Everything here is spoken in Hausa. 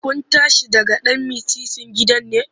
Kun tashi daga ɗan mitsitsin gidan ne?